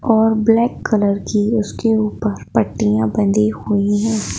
और black colour की उसके ऊपर पट्टियां बंदी हुई हैं।